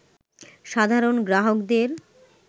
সাধারণ গ্রাহকদের